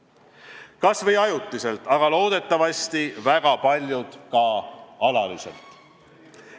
Tulgu nad tagasi kas või ajutiselt, aga loodetavasti väga paljud ka alatiseks.